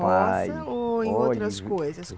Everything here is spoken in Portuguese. Roça ou em outras coisas?